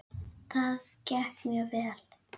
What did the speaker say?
Það gekk mjög vel.